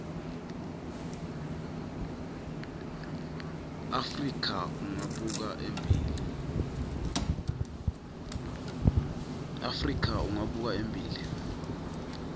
afrika ungabuka embili